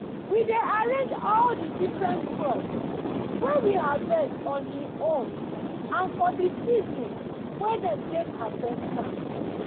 we dey arrange all di different crop wey we harvest on hin own and fo di season wen dem take harvest am.